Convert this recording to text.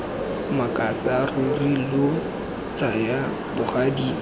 makatsa ruri lo tsaya bogadi